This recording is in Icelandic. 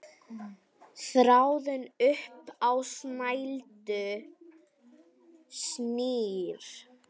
Þráðinn upp á snældu snýr.